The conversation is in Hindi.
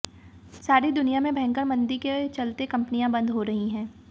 सारी दुनिया में भयंकर मंदी के चलते कंपनियां बंद हो रही हैं